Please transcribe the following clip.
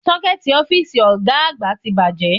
Ṣọ́kẹ́ẹ̀tì ọ́fíìsì Ọ̀ga àgbà ti bàjẹ́